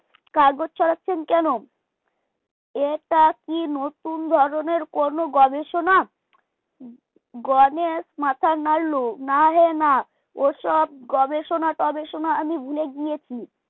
কাগজ ছড়াচ্ছেন কেন এটা কি নতুন ধরনের কোন গবেষণা? গণেশ মাথা নাড়ল নাহে না ওসব গবেষণা টবেষণা আমি ভুলে গিয়েছি